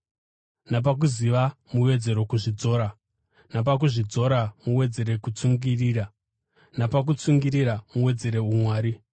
napakuziva muwedzere kuzvidzora; napakuzvidzora, muwedzere kutsungirira; napakutsungirira, muwedzere umwari;